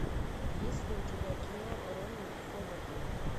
есть ли у тебя кино рона ховарда